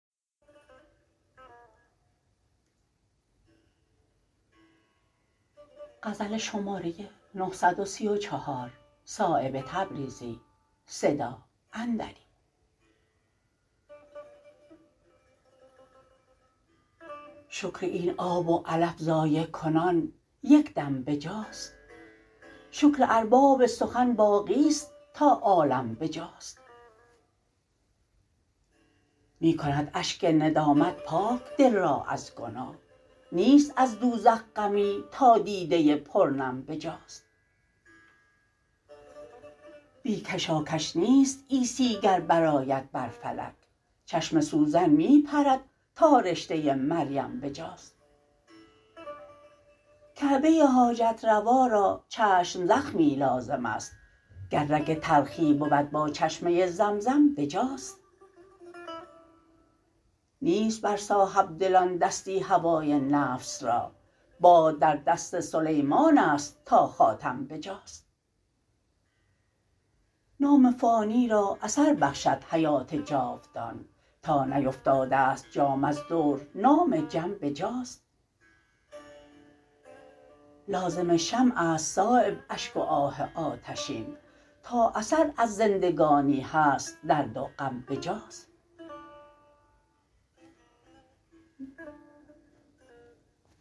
شکر این آب و علف ضایع کنان یک دم بجاست شکر ارباب سخن باقی است تا عالم بجاست می کند اشک ندامت پاک دل را از گناه نیست از دوزخ غمی تا دیده پر نم بجاست بی کشاکش نیست عیسی گر برآید بر فلک چشم سوزن می پرد تا رشته مریم بجاست کعبه حاجت روا را چشم زخمی لازم است گر رگ تلخی بود با چشمه زمزم بجاست نیست بر صاحبدلان دستی هوای نفس را باد در دست سلیمان است تا خاتم بجاست نام فانی را اثر بخشد حیات جاودان تا نیفتاده است جام از دور نام جم بجاست لازم شمع است صایب اشک و آه آتشین تا اثر از زندگانی هست درد و غم بجاست